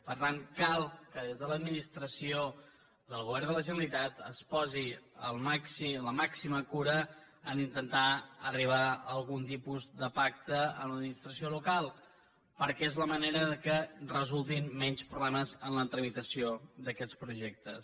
per tant cal que des de l’ad ministració del govern de la generalitat es posi la màxima cura en intentar arribar a algun tipus de pacte amb l’administració local perquè és la manera que resultin menys problemes en la tramitació d’aquests projectes